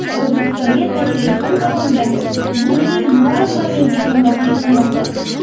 O‘zbekistonga tashrifim davomida Guli Muradova menga hamrohlik qilmoqda.